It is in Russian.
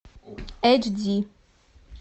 эйч ди